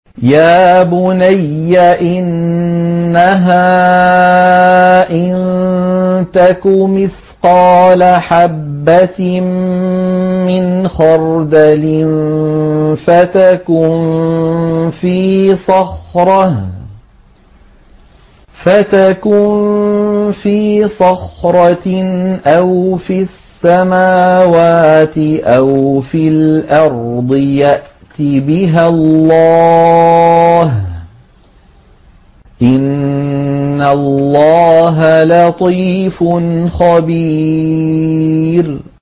يَا بُنَيَّ إِنَّهَا إِن تَكُ مِثْقَالَ حَبَّةٍ مِّنْ خَرْدَلٍ فَتَكُن فِي صَخْرَةٍ أَوْ فِي السَّمَاوَاتِ أَوْ فِي الْأَرْضِ يَأْتِ بِهَا اللَّهُ ۚ إِنَّ اللَّهَ لَطِيفٌ خَبِيرٌ